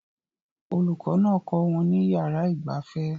Olùkọ́ náà kọ́ wọn ní yàrá ìgbafẹ́